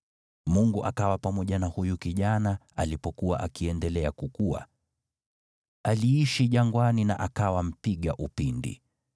Mungu akawa pamoja na huyu kijana alipokuwa akiendelea kukua. Aliishi jangwani na akawa mpiga upinde.